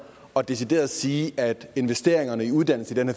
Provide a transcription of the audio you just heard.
og decideret sige at investeringerne i uddannelse i den